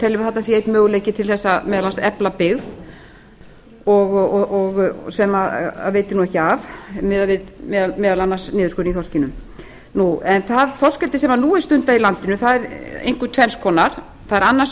teljum að þarna sé einn möguleiki til þess meðal annars að efla byggð sem veitir ekki af miðað við meðal annars niðurskurð í þorskinum það þorskeldi sem nú er stundað í landinu er einkum tvenns konar það er annars